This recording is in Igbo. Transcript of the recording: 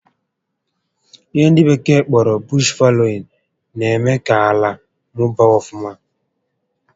Ihe ndị bekee kpọrọ 'bush faloin' na-eme ka ala mụbaa ọfụma